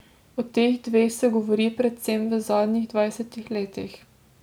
O teh dveh se govori predvsem v zadnjih dvajsetih letih.